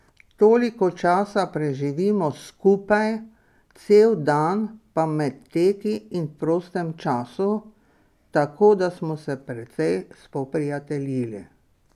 Toliko časa preživimo skupaj, cel dan, pa med teki in v prostem času, tako da smo se precej spoprijateljili.